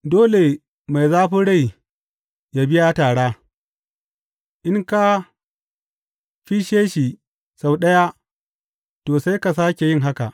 Dole mai zafin rai yă biya tara; in ka fisshe shi sau ɗaya, to, sai ka sāke yin haka.